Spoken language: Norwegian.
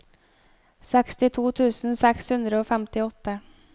sekstito tusen seks hundre og femtiåtte